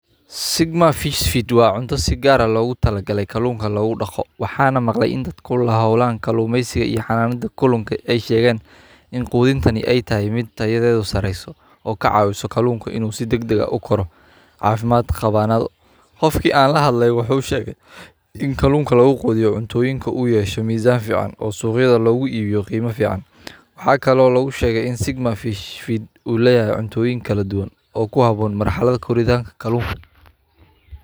Sigma fish food waa cunta si gar ah logu tala gale kalunka lagu daqo waxana lamaqle in ee dadk ku holnadhan kalumesiga iyo xananada kalunka ee shegen in qudinta ee tahay mid tayadeda sareyso oo ka caiso in kalunka si fican u koro qofki an la hadle wuxuu shege inkalunka lagu qudhiyo u yesho misan fican oo siqyaada lagu ibiyo qima fican waxaa kalo lagu shege In sigma fish food u leyahay cuntoyin kaladuwan oo ku habon.